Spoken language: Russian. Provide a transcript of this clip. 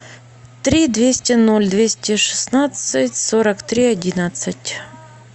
три двести ноль двести шестнадцать сорок три одиннадцать